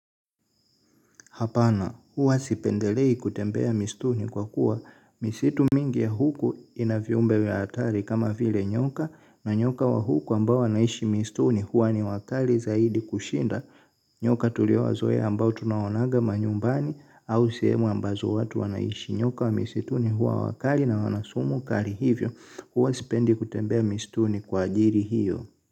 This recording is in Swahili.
Hapana, huwa sipendelei kutembea misituni kwa kuwa. Misitu mingi ya huku ina viumbe vya hatari kama vile nyoka na nyoka wa huku ambao wanaishi misituni huwa ni wakali zaidi kushinda. Nyoka tuliowazoea ambao tunawonaga manyumbani au sehemu ambazo watu wanaishi nyoka wa misituni huwa wakali na wana sumu kali hivyo. Huwa sipendi kutembea misituni kwa ajili hiyo.